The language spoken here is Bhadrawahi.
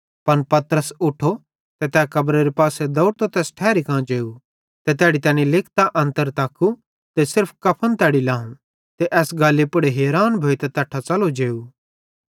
पन पतरस उठो ते तै कब्रेरे पासे दौवड़तो तैस ठैरी कां जेव ते तैड़ी तैनी लिकतां अन्तर तक्कू ते सिर्फ कफन तैड़ी लाव ते एस गल्ली पुड़ हैरान भोइतां तैट्ठां च़लो जेव